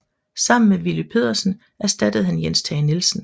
Sammen med Willy Pedersen erstattede han Jens Tage Nielsen